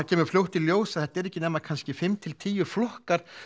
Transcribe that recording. kemur fljótt í ljós að þetta eru ekki nema kannski fimm til tíu flokkar